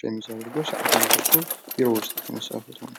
ሸሚዝ አድርጎ ሰዓትም አድርጎ ቢሮ ውስጥ የተነሳው ፎቶ ነው ።